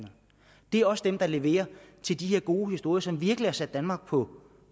det er også dem der leverer til de gode historier som virkelig har sat danmark på